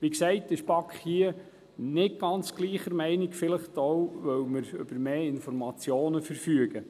Wie gesagt: Die BaK ist hier nicht ganz gleicher Meinung, vielleicht auch, weil wir über mehr Informationen verfügen.